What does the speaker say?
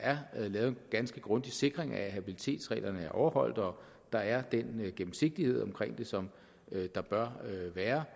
er lavet en ganske grundig sikring af at habilitetsreglerne er overholdt og der er den gennemsigtighed omkring det som der bør være